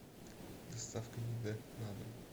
доставка еды на дом